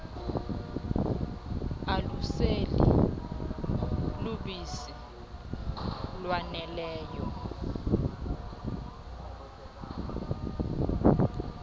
aluseli lubisi lwaneleyo